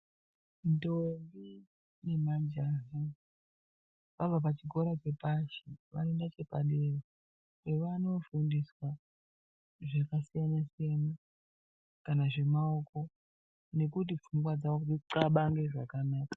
Ndombi nemajaha vabva pachikora chepashi vanoenda chepadera pevanoofundiswa zvakasiyana-siyana, kana zvemaoko nekuti pfungwa dzavo dzixabange zvakanaka.